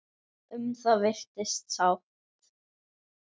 Um það virðist sátt.